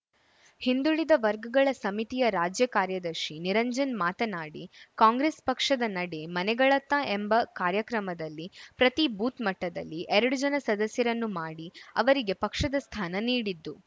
ಹಿಂದುಳಿದ ವರ್ಗಗಳ ಸಮಿತಿಯ ರಾಜ್ಯ ಕಾರ್ಯದರ್ಶಿ ನಿರಂಜನ್‌ ಮಾತನಾಡಿ ಕಾಂಗ್ರೆಸ್‌ ಪಕ್ಷದ ನಡೆ ಮನೆಗಳತ್ತ ಎಂಬ ಕಾರ್ಯಕ್ರಮದಲ್ಲಿ ಪ್ರತಿ ಬೂತ್‌ ಮಟ್ಟದಲ್ಲಿ ಎರಡು ಜನ ಸದಸ್ಯರನ್ನು ಮಾಡಿ ಅವರಿಗೆ ಪಕ್ಷದ ಸ್ಥಾನ ನೀಡಿತು